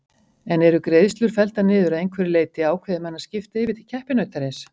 En eru greiðslur felldar niður að einhverju leyti ákveði menn að skipta yfir til keppinautarins?